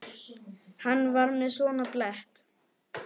Hann var með svona blett.